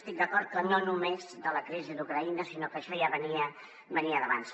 estic d’acord que no només de la crisi d’ucraïna sinó que això ja venia d’abans